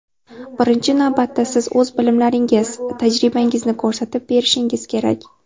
Birinchi navbatda siz o‘z bilimlaringiz, tajribangizni ko‘rsatib berishingiz kerak.